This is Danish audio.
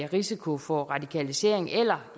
risiko for radikalisering eller